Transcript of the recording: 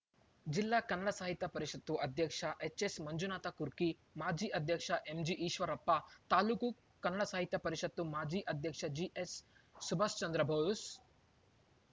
ಜಿಲ್ಲಾ ಕನ್ನಡ ಸಾಹಿತ್ಯ ಪರಿಷತು ಅಧ್ಯಕ್ಷ ಎಚ್‌ಎಸ್‌ಮಂಜುನಾಥಕುರ್ಕಿ ಮಾಜಿ ಅಧ್ಯಕ್ಷ ಎಂಜಿಈಶ್ವರಪ್ಪ ತಾಲೂಕು ಕನ್ನಡ ಸಾಹಿತ್ಯ ಪರಿಷತು ಮಾಜಿ ಅಧ್ಯಕ್ಷ ಜಿಎಸ್‌ಸುಭಾಸ್‌ಚಂದ್ರಭೊಸ್‌